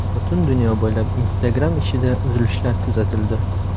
Butun dunyo bo‘ylab Instagram ishida uzilishlar kuzatildi.